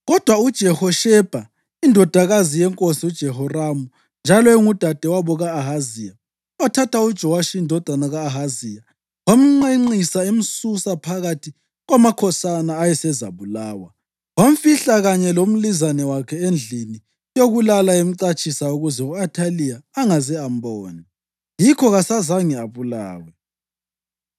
Kodwa uJehoshebha, indodakazi yenkosi uJehoramu njalo engudadewabo ka-Ahaziya, wathatha uJowashi indodana ka-Ahaziya wamnqenqisa emsusa phakathi kwamakhosana ayesezabulawa. Wamfihla kanye lomlizane wakhe endlini yokulala emcatshisa ukuze u-Athaliya angaze ambona; yikho kasazange abulawe.